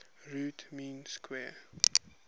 root mean square